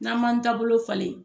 N'a m'an taabolo falen